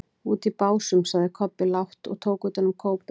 Úti í Básum, sagði Kobbi lágt og tók utan um kópinn.